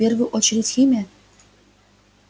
в первую очередь химия